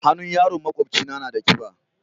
Hannun yaron maƙwabcina na da kiba.